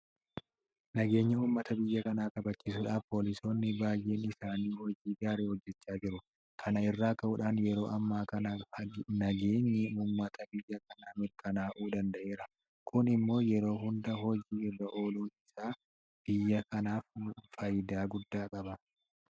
Nageenya uummata biyya kanaa kabachiisuudhaaf poolisoonni baay'een isaanii hojii gaarii hojjechaa jiru. Kana irraa ka'uudhaan yeroo ammaa kana nageenyi uummata biyya kanaa mirkanaa'uu danda'eera. Kun immoo yeroo hunda hojii irra ooluun isaa biyya kanaaf faayidaa guddaa qaba.